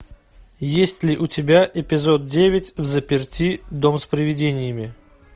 есть ли у тебя эпизод девять взаперти дом с приведениями